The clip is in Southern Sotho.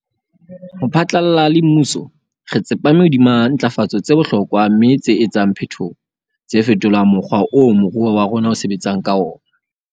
Ho phatlalla le mmuso, re tsepame hodima ntlafatso tse bohlokwa mme tse etsang phetoho, tse fetolang mokgwa oo moruo wa rona o sebetsang ka ona.